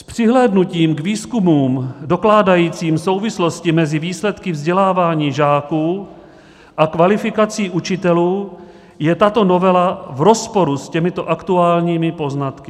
S přihlédnutím k výzkumům dokládajícím souvislosti mezi výsledky vzdělávání žáků a kvalifikací učitelů je tato novela v rozporu s těmito aktuálními poznatky.